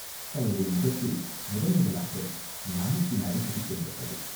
அவளுடைய முகத்தில் முதன் முதலாக நாணத்தின் அறிகுறி தென்பட்டது.